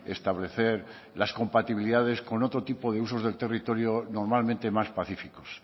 establecer las compatibilidades con otro tipo de usos del territorio normalmente más pacíficos